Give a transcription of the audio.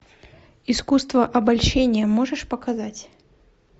искусство обольщения можешь показать